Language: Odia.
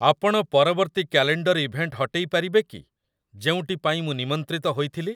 ଆପଣ ପରବର୍ତ୍ତୀ କ୍ୟାଲେଣ୍ଡର ଇଭେଣ୍ଟ ହଟେଇ ପାରିବେ କି, ଯେଉଁଟି ପାଇଁ ମୁଁ ନିମନ୍ତ୍ରିତ ହୋଇଥିଲି।